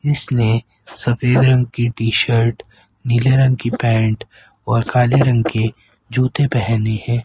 इसने सफेद रंग की टी शर्ट नीले रंग की पैंट और काले रंग के जूते पहने हैं।